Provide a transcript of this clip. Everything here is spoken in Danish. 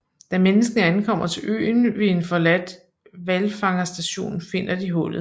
Da menneskene ankommer til øen ved en forladt hvalfangerstation finder de hullet